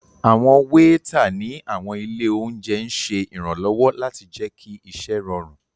Awọn weeta ni awọn ile ounjẹ n ṣe iranlọwọ lati jẹ ki iṣẹ rọrun